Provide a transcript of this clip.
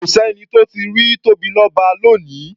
Kò s’ẹ́ni tó tíì rí Tóbilọ́ba lónìí.